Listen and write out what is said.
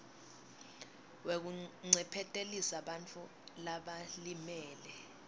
wekuncephetelisa bantfu labalimele